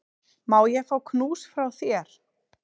Má ég fá knús frá þér?